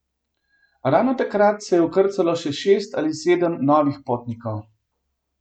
Ravno takrat se je vkrcalo še šest ali sedem novih potnikov.